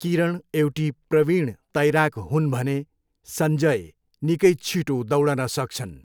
किरण एउटी प्रवीण तैराक हुन् भने, सञ्जय निकै छिटो दौडन सक्छन्।